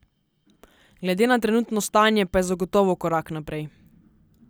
Glede na trenutno stanje pa je zagotovo korak naprej.